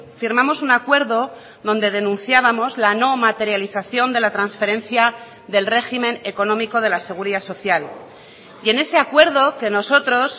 firmamos un acuerdo donde denunciábamos la no materialización de la transferencia del régimen económico de la seguridad social y en ese acuerdo que nosotros